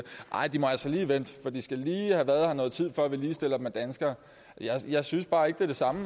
nej de må altså lige vente for de skal lige have været her noget tid før vi ligestiller dem med danskerne jeg synes bare ikke det er det samme